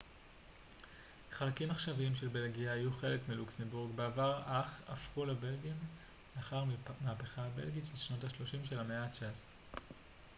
חלקים עכשוויים של בלגיה היו חלק מלוקסמבורג בעבר אך הפכו לבלגים לאחר המהפכה הבלגית של שנות ה-30 של המאה התשע עשרה